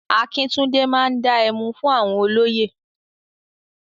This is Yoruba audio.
Akíntúndé máa dá ẹmu fún àwọn olóyè.